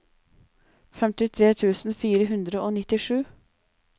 femtitre tusen fire hundre og nittisju